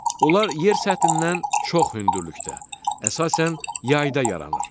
Onlar yer səthindən çox hündürlükdə, əsasən yayda yaranır.